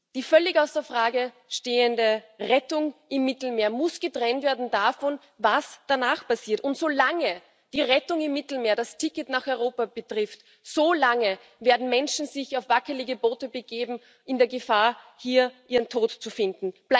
Die völlig außer Frage stehende Rettung im Mittelmeer muss von dem getrennt werden, was danach passiert, und solange die Rettung im Mittelmeer das Ticket nach Europa bedeutet, solange werden Menschen sich auf wackelige Boote begeben, in der Gefahr, hier ihren Tod zu finden.